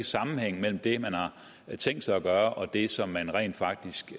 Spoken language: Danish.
sammenhæng mellem det man har tænkt sig at gøre og det som man rent faktisk